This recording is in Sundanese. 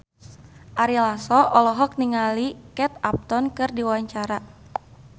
Ari Lasso olohok ningali Kate Upton keur diwawancara